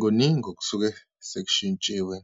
Kuningi okusuke sekushintshiwe